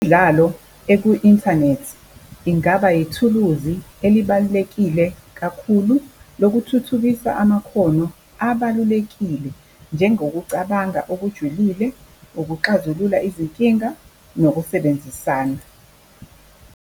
Imidlalo eku-inthanethi ingaba ithuluzi elibalulekile kakhulu lokuthuthukisa amakhono abalulekile njengokucabanga okujulile, nokuxazulula izinkinga, nokusebenzisana.